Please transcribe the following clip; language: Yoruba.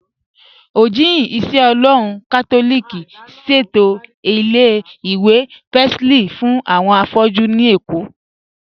Ojihìn-ìṣẹ-Ọlọ́run Katolíkì ṣẹ̀tọ ilẹ̀-ìwé Pacelli fún awọn afọ̀jú ní Ékó